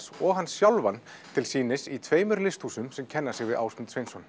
og hann sjálfur til sýnis í tveimur listhúsum sem kenna sig við Ásmund Sveinsson